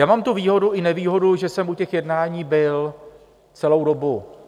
Já mám tu výhodu i nevýhodu, že jsem u těch jednání byl celou dobu.